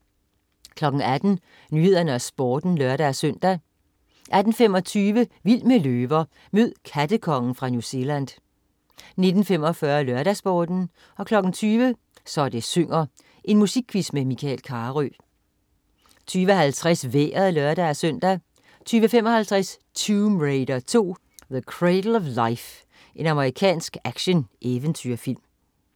18.00 Nyhederne og Sporten (lør-søn) 18.25 Vild med løver. Mød "kattekongen" fra New Zealand 19.45 LørdagsSporten 20.00 Så det synger. Musikquiz med Michael Carøe 20.50 Vejret (lør-søn) 20.55 Tomb Raider 2: The Cradle of Life. Amerikansk action-eventyrfilm